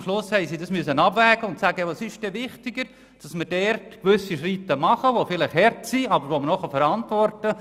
Am Schluss mussten sie abwägen, was wichtiger ist, und Schritte machen, die vielleicht hart, aber noch verantwortbar sind.